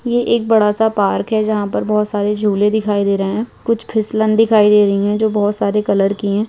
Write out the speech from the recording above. ये एक बड़ा सा पार्क है जहाँ पर बहुत सारे झूले दिखाई दे रहें हैं कुछ फिसलन दिखाई दे रहीं हैं जो बहुत सारे कलर के हैं।